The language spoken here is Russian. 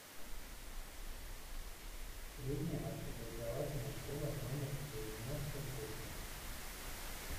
средняя общеобразовательная школа номер девяносто восемь